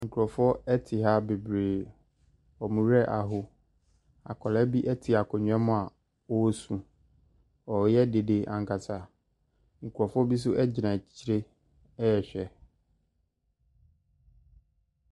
Nkrofoɔ ɛti ha beberee ɔmoraho akɔda bi ɛti nkonnwa mu osuu ɔyɛ dede ankasa nkrofoɔ bi agyina kyekyeree Ɛhwɛ.